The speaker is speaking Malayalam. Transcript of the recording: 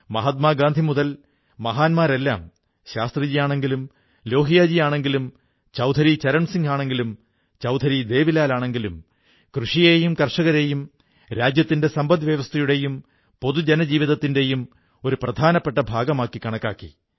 മഹാത്മാ ഗാന്ധിമുതൽ മഹാന്മാരെല്ലാം ശാസ്ത്രിജി ആണെങ്കിലും ലോഹിയാജി ആണെങ്കിലും ചൌധരി ചരൺസിംഗ് ആണെങ്കിലും ചൌധരി ദേവിലാൽ ആണെങ്കിലും കൃഷിയെയും കർഷകരെയും രാജ്യത്തിന്റെ സമ്പദ് വ്യവസ്ഥയുടെയും പൊതു ജനജീവിതത്തിന്റെയും ഒരു പ്രാധനപ്പെട്ട ഭാഗമായി കണക്കാക്കി